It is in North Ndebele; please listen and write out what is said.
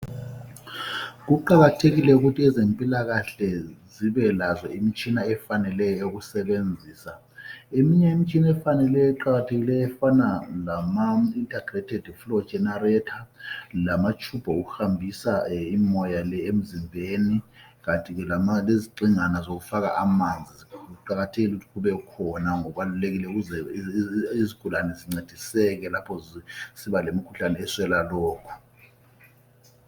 Kuqakathekile ukuthi ezempilakahle zibe lazo imitshina efaneleyo yokusebenzisa , eminye imitshina efaneleyo eqakathekileyo efana lama integrated floor generator lama tube okuhambisa umoya le emzimbeni kanti ke lezigxingi zokufaka amanzi kuqakathekile ukuthi kubekhona kubalulekile ukuze izigulane zincediseke lapho zisiba lemikhuhlane eswela lokhu